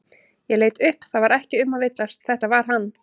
Ég leit upp það var ekki um að villast, þetta var hann.